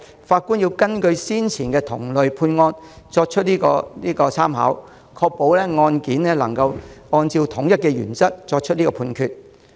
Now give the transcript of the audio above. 法官必須參考先前同類案件的判決結果，確保能夠按照統一的原則作出判決。